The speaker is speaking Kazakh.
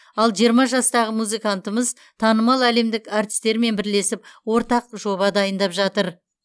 ал жиырма жастағы музыкантымыз танымал әлемдік әртістермен бірлесіп ортақ жоба дайындап жатыр